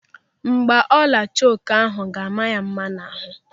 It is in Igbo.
Mgbaolu choka ahụ ga-ama ya mma n'ahụ.